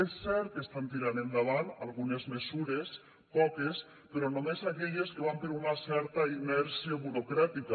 és cert que estan tirant endavant algunes mesures poques però només aquelles que van per una certa inèrcia burocràtica